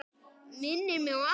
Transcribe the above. Minnir mig á apa.